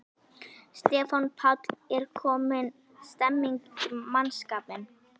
Stefán Páll: Er komin stemning í mannskapinn?